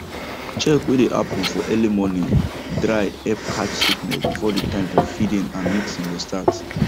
check way dey happen for early morning dry help catch sickness before the time for feeding and mixing go start